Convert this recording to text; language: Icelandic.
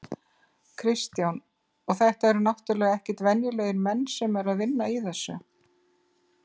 Kristján: Og þetta eru náttúrulega ekkert venjulegir menn sem að eru að vinna í þessu?